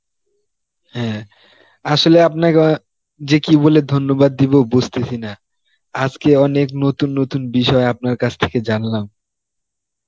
হ্যাঁ আসলে আপনাকে যে কি বলে ধন্যবাদ দিব বুঝতেছি না, আজকে অনেক নতুন নতুন বিষয় আপনার কাছ থেকে জানলাম.